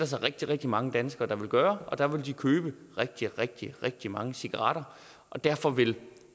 så rigtig rigtig mange danskere der vil gøre der vil de købe rigtig rigtig rigtig mange cigaretter og derfor vil